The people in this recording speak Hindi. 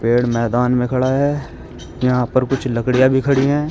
पेड़ मैदान में खड़ा है यहां पर कुछ लकड़िया भी खड़ी है।